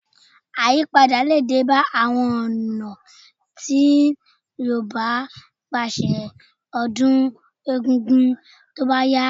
Àyípadà lè dé bá àwọn ọ̀nà tí Yorùbá ń gbà ṣe ọdún egungun tó bá yá